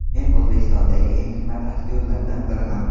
Men O‘zbekistondagi eng qimmat aktyorlardan biriman”.